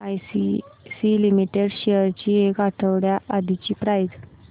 ACC limited shares ची एक आठवड्या आधीची प्राइस